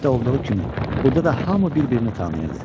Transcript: Kənddə olduğu kimi, burda da hamı bir-birini tanıyırdı.